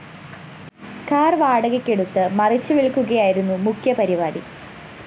car വാടകയ്ക്ക് എടുത്ത് മറിച്ചു വില്‍ക്കുകയായിരുന്നു മുഖ്യപരിപാടി